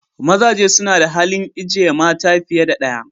Mazaje suna da halin ijeye mata fiye da daya.